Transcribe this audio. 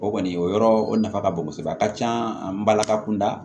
O kɔni o yɔrɔ o nafa ka bon kosɛbɛ a ka can an balaka kunda